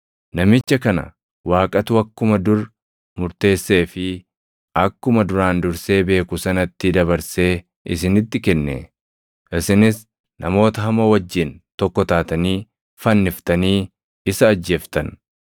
Namicha kana Waaqatu akkuma dur murteessee fi akkuma duraan dursee beeku sanatti dabarsee isinitti kenne. Isinis namoota hamoo wajjin tokko taatanii fanniftanii isa ajjeeftan.